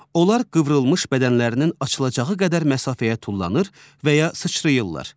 Onlar qıvrılmış bədənlərinin açılacağı qədər məsafəyə tullanır və ya sıçrayırlar.